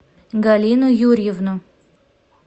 галину юрьевну